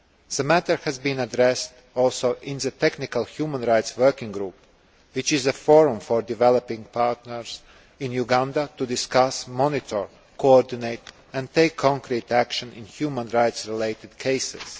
The matter has also been addressed in the technical Human Rights Working Group, which is a forum for developing partners in Uganda to discuss, monitor, coordinate and take concrete action in human rights related cases.